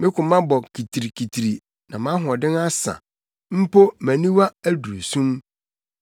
Me koma bɔ kitirikitiri, na mʼahoɔden asa mpo mʼaniwa aduru sum.